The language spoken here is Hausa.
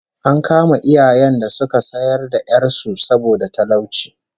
An kama iyayen da suka sayar da 'yar su saboda talauci